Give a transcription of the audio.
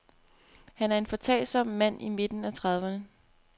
Han er en foretagsom mand i midten af trediverne.